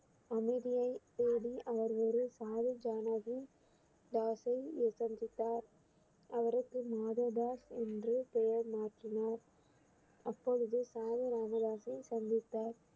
அமைதியைத் தேடி அவர் ஒரு சந்தித்தார் அவருக்கு தாஸ் என்று பெயர் மாற்றினார் அப்பொழுது சந்தித்தார்